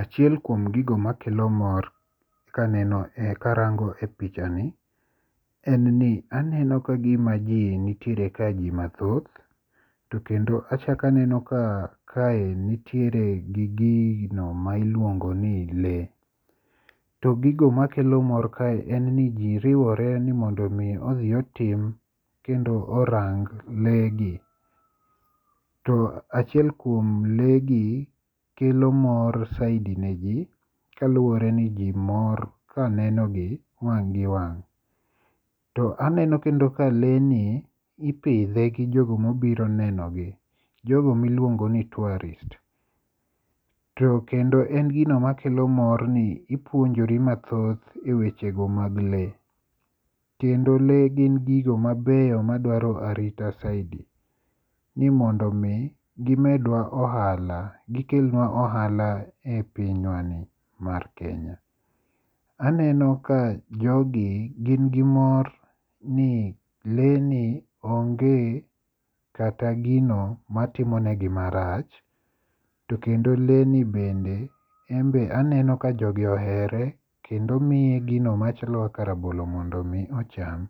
Achiel kuom gigo makelo mor kaneno karango e picha ni en ni, aneno kagima ji nitiere ka ji mathoth to kendo achako aneno ka kae nitiere gi gino mailuongo ni lee. To gigo makelo mor kae en ni ji riwore mondo mi odhi otim kendo orang lee gi. To achiel kuom lee gi kelo mor zaidi ka neno gi wang' gi wang'. To aneno ka lee ni ipidhe gi jogo miluongo ni tourists. To kendo en gino makelo mor ni ipuonjori mathoth e wechego mag lee kendo lee gin gigo mabeyo madwaro arita zaidi ni mondo mi gimedwa ohala gikelnua ohala e pinywani mar Kenya. Aneno ka jogi gin gi mor ni lee ni onge kata gino matimonegi marach to kendo lee ni bende en be aneno ka jogi ohere kendo miye gino machalo ka rabolo mondo mi ocham.